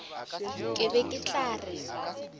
ke be ke tla re